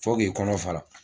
Fo k'i kɔnɔ fara